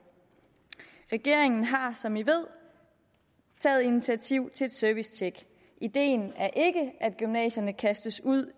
regeringen har som man ved taget initiativ til et servicetjek ideen er ikke at gymnasierne kastes ud